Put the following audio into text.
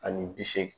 Ani bi seegin